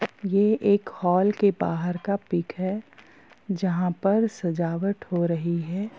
ये एक हॉल के बाहर का पिक है जहाँ पर सजावट हो रही है।